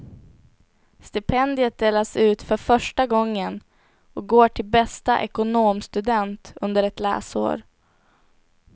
Stipendiet delas ut för första gången och går till bästa ekonomstudent under ett läsår.